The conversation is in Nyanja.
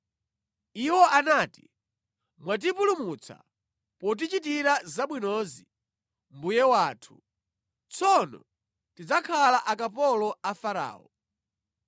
Iwo anati, “Mwatipulumutsa potichitira zabwinozi, mbuye wathu, tsono tidzakhala akapolo a Farao.”